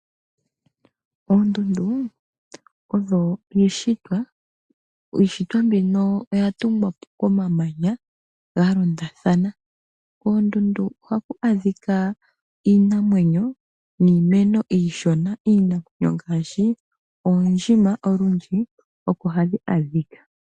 Oondundu odho iishitwa. Iishitwa mbino oya tungwa po komamanya ga londathana. Koondundu oha ku adhika iinamwenyo niimeno iishona. Iinamwengaashi oondjima olundji oko hadhi adhika.